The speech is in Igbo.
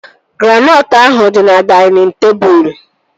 Granọtụ ahụ dị na dainịn tebụl